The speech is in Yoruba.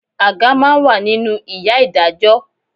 Àga máa ń wà nínú ìyá Ìdájọ́